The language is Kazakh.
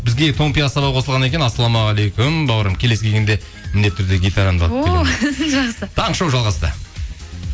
бізге томпи ассалау қосылған екен ассалаумағалейкум бауырым келесі келгенде міндетті түрде гитарамды алып келемін о жақсы таңғы шоу жалғасты